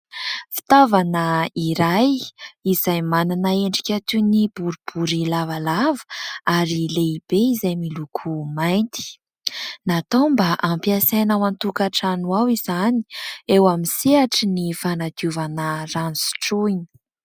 Fitaovana iray izay manana endrika toy ny boribory lavalava ary lehibe, izay miloko mainty. Natao mba hampiasaina ao an-tokantrano ao izany eo amin'ny sehatry ny fanadiovana rano sotroina.